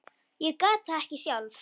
Ég gat það ekki sjálf.